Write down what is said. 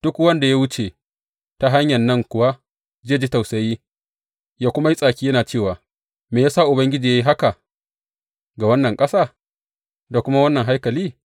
Duk wanda ya wuce ta hanyan nan kuwa zai ji tausayi, yă kuma yi tsaki yana cewa, Me ya sa Ubangiji ya yi haka ga wannan ƙasa da kuma wannan haikali?’